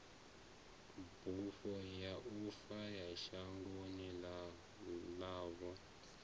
bufho ya uya shangoni ḽavho